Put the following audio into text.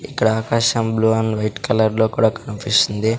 ఇక్కడ ఆకాశం blue and white colour లో కూడా కనిపిస్తుంది.